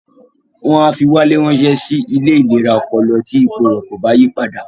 Wọ́n á fi Wálé ránsẹ́ sí ilé ìlera ọpọlọ tí ipò rẹ̀ kò bá yí padà